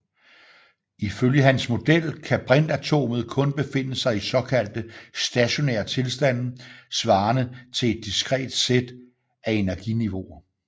Ifølge hans model kan brintatomet kun befinde sig i såkaldte stationære tilstande svarende til et diskret sæt af energiniveauer